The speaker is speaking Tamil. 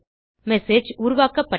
மெசேஜ் உருவாக்கப்பட்டது